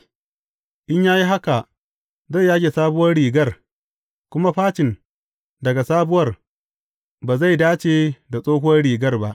In ya yi haka, zai yage sabuwar rigar, kuma facin daga sabuwar ba zai dace da tsohuwar rigar ba.